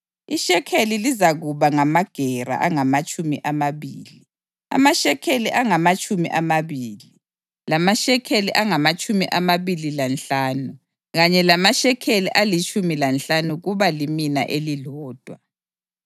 Ishekeli lizakuba ngamagera angamatshumi amabili. Amashekeli angamatshumi amabili, lamashekeli angamatshumi amabili lanhlanu kanye lamashekeli alitshumi lanhlanu kuba limina elilodwa.